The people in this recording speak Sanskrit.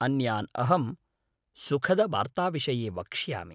अन्यान् अहं सुखदवार्ताविषये वक्ष्यामि!